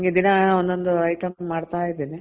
ಹಂಗೆ ದಿನ ಒಂದೊಂದ್ item ಮಾಡ್ತಾ ಇದೀನಿ.